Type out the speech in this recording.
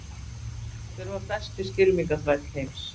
Hver var besti skylmingaþræll heims?